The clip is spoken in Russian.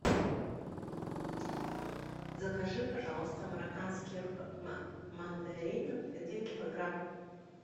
закажи пожалуйста марокканских мандаринов один килограмм